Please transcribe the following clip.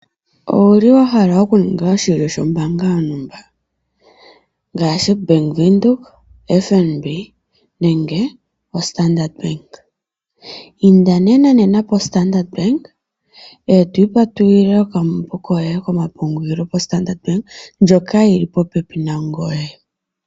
Owuli wahala okuninga oshilyo shoombaanga yontumba? ngaashi Bank Windhoek, FNB, Nenge Standard? Inda nena positola yo Standard eto ipatululile okambo koye kombaanga ko Standard Bank ndjoka yili popepi nangoye.